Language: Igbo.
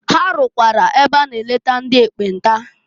Ha rụkwara ebe a na eleta ndị ekpenta.